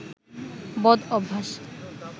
বদ অভ্যাস